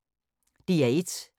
DR1